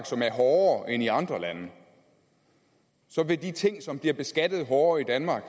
som er hårdere end i andre lande så vil de ting som bliver beskattet hårdere i danmark